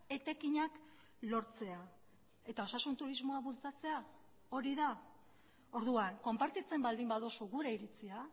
etekinak lortzea eta osasun turismoa bultzatzea hori da orduan konpartitzen baldin baduzu gure iritzia